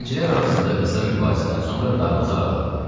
Zəncirlər arasında qısa mübahisədən sonra darvaza aralandı.